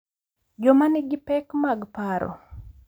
Joma nigi pek mag paro